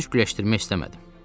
Söz güləşdirmək istəmədim.